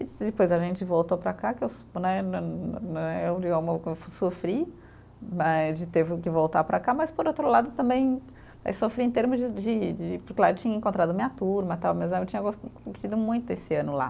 E depois a gente voltou para cá, que eu né né né, eh sofri né de teve, que voltar para cá, mas por outro lado também sofri em termos de de de, porque lá eu tinha encontrado a minha turma, tal, tinha gos curtido muito esse ano lá.